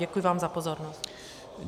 Děkuji vám za pozornost.